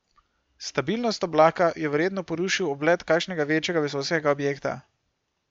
Stabilnost oblaka je verjetno porušil oblet kakšnega večjega vesoljskega objekta.